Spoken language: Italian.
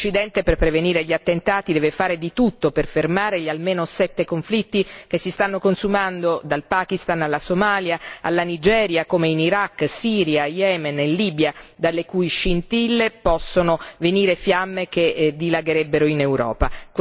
L'Occidente per prevenire gli attentati deve fare di tutto per fermare gli almeno sette conflitti che si stanno consumando dal Pakistan alla Somalia e alla Nigeria, come in Iraq, Siria, Yemen e Libia, dalle cui scintille possono venire fiamme che dilagherebbero in Europa.